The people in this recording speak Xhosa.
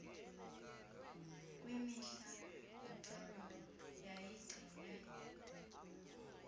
kwimihla yocalulo yayigcinwe